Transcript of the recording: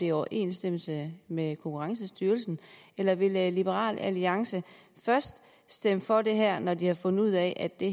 i overensstemmelse med konkurrencestyrelsen eller vil liberal alliance først stemme for det her når de har fundet ud af at det